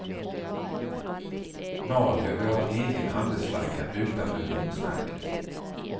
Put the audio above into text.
Norge vill ha en egen handelsflagga utan unionsmärket.